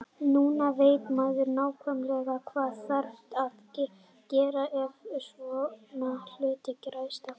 Núna veit maður nákvæmlega hvað þarf að gera ef svona hlutir gerast aftur.